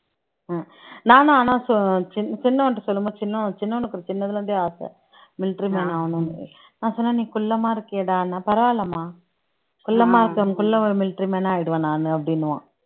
அஹ் நானும் ஆனா சொ சின்னசின்னவன்ட்ட சொல்லும் போது சின்னவன் சின்னவனுக்கு சின்னதுல இருந்தே ஆசை military man ஆகணும்ன்னு நான் சொன்னேன் நீ குள்ளமா இருக்கியேடான்ன பரவாயில்லம்மா குள்ளமா இருக்கேன் குள்ள ஒரு military man ஆயிடுவேன் நானு அப்படின்னுவான்